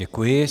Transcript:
Děkuji.